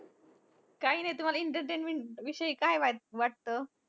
काही नाही तुम्हांला entertainment विषयी काय वाट वाटतं?